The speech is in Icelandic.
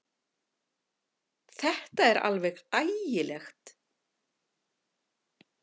Þetta er alveg ægilegt!